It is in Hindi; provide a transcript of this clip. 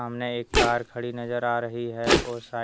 नई कार खड़ी नजर आ रही है और शाय--